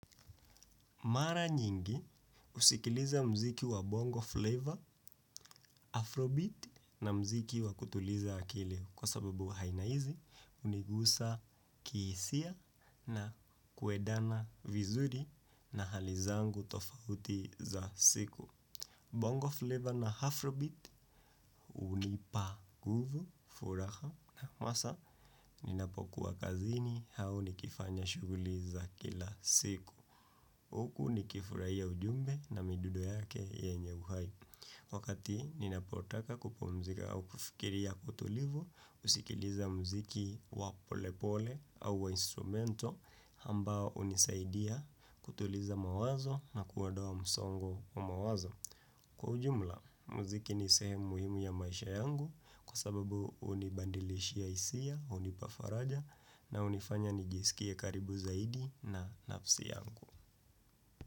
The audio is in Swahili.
Mara nyingi usikiliza mziki wa bongo flavor, afrobeat na mziki wa kutuliza akili kwa sababu haina hizi unigusa kiisia na kuedana vizuri na hali zangu tofauti za siku. Bongo flavor na afrobeat unipa guvu furaha na masaa ninapokuwa kazini hau nikifanya shuguli za kila siku. Huku ni kifurahia ujumbe na midudo yake yenye uhai. Wakati ninapotaka kupumzika au kufikiri ya utulivu, husikiliza muziki wa pole pole au wa instrumentle ambao unisaidia kutuliza mawazo na kuodoa msongo wa mawazo. Kwa ujumla, muziki ni sehemu muhimu ya maisha yangu kwa sababu unibadilishia hisia, hunipa faraja na hunifanya nijisikie karibu zaidi na nafsi yangu.